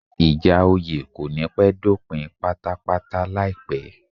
Ìjà oyè kò ní pẹ́ dópin pátápátáláìpẹ́